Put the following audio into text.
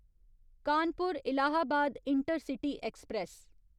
Kanpur Allahabad intercity express